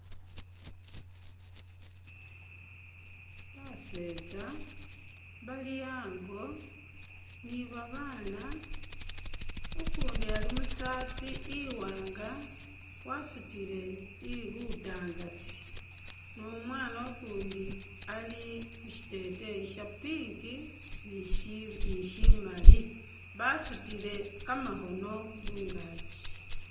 Basetsa bali ango ni babana ukundi ali musaati iwanga wasutile lutangati ni umwana ukundi ali mushiteteyi sha pink ni shimali basutile kamakhono mungakyi.